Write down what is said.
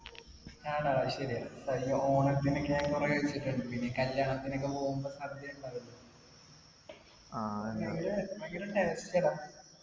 ആണോ അത് ശെരിയാ കഴിഞ്ഞ ഓണത്തിനൊക്കെ കൊറേ കല്യാണത്തിനൊക്കെ പോവ്വ്യമ്പോ സദ്യ ഉണ്ടാവുല്ലോ ഭയങ്കര taste ആടാ